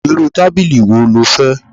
Irú tábìlì wo ló fẹ́?